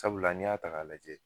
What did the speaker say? Sabula ni y'a ta k'a lajɛ